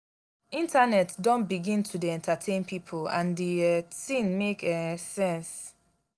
internet don begin to dey entertain pipo and di um tin make um sense.